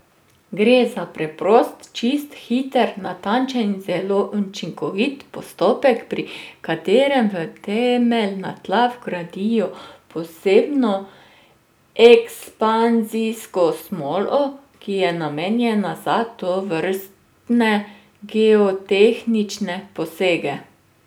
Gre za preprost, čist, hiter, natančen in zelo učinkovit postopek, pri katerem v temeljna tla vgradijo posebno ekspanzijsko smolo, ki je namenjena za tovrstne geotehnične posege.